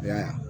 I y'a ye